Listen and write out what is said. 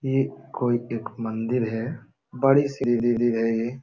ये कोई एक मंदिर है। बड़ी सी